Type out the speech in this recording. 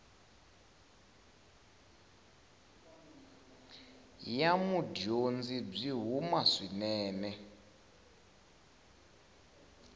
ya mudyondzi byi huma swinene